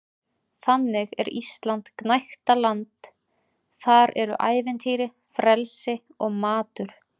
Þannig er Ísland gnægtaland- þar eru ævintýri, frelsi og matur.